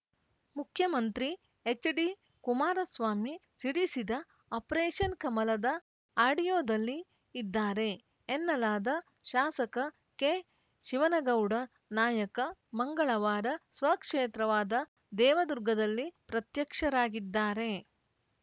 ಮುಖ್ಯಮಂತ್ರಿ ಎಚ್‌ಡಿ ಕುಮಾರಸ್ವಾಮಿ ಸಿಡಿಸಿದ ಆಪರೇಷನ್‌ ಕಮಲದ ಆಡಿಯೋದಲ್ಲಿ ಇದ್ದಾರೆ ಎನ್ನಲಾದ ಶಾಸಕ ಕೆಶಿವನಗೌಡ ನಾಯಕ ಮಂಗಳವಾರ ಸ್ವಕ್ಷೇತ್ರವಾದ ದೇವದುರ್ಗದಲ್ಲಿ ಪ್ರತ್ಯಕ್ಷರಾಗಿದ್ದಾರೆ